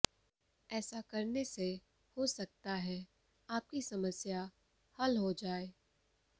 ऐसा करने से हो सकता है आपकी समस्या हल हो जाए